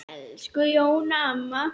Elsku Jóna amma.